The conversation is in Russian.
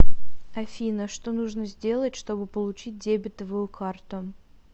афина что нужно сделать чтобы получить дебитовую карту